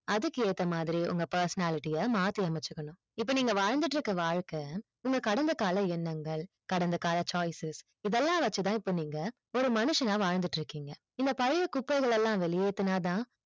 அதுக்கு ஏத்த மாதிரி உங்க personality அ மாத்தி அமைச்சிக்கனும் இப்ப நீங்க வாழ் இருந்துட்டு வாழ்க்கை உங்க கடந்த கால எண்ணங்கள் கடந்த கால choices இதயெல்லாம் வச்சி தான் இப்ப நீங்க ஒரு மனுஷங்னா வாழ் இருந்துட்டு இருக்கிங்க இந்த பழைய குப்பைகள் எல்லாம் வெளியேதுனா தான்